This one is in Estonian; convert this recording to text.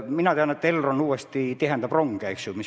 Mina tean, et Elron uuesti tihendab rongide graafikuid.